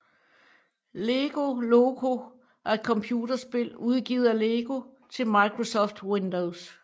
Lego Loco er et computerspil udgivet af Lego til Microsoft Windows